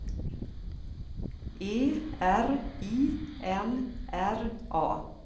E R I N R A